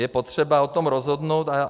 Je potřeba o tom rozhodnout.